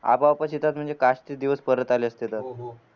ते दिवस परत आले असते तर